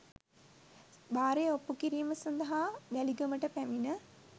භාරය ඔප්පු කිරීම සඳහා වැලිගමට පැමිණ